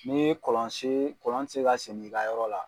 Ni ye kɔlɔn sen kɔlɔn ti se ka segin i ka yɔrɔ la